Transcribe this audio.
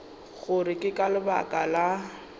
gore ke ka lebaka la